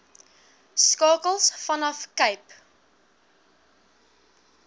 skakels vanaf cape